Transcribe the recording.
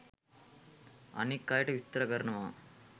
අනික් අයට විස්තර කරනවා.